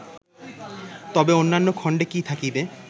তবে অন্যান্য খণ্ডে কি থাকিবে